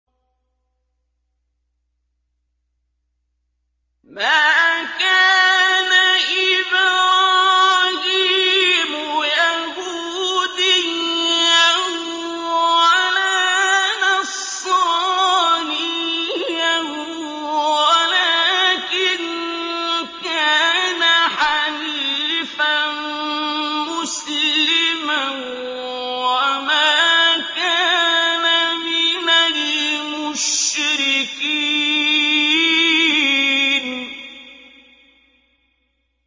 مَا كَانَ إِبْرَاهِيمُ يَهُودِيًّا وَلَا نَصْرَانِيًّا وَلَٰكِن كَانَ حَنِيفًا مُّسْلِمًا وَمَا كَانَ مِنَ الْمُشْرِكِينَ